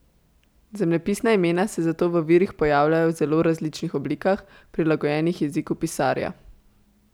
Zemljepisna imena se zato v virih pojavljajo v zelo različnih oblikah, prilagojenih jeziku pisarja.